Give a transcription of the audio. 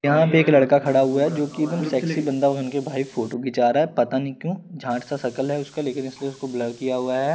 यहां पे एक लड़का खड़ा हुआ है जो की सेक्सी बाँदा बनके भाई फोटो खींचा रहा है पता नई क्यों झाट सा सकल है उसका लेकिन इसमें उसको बलौर किया हुआ है ।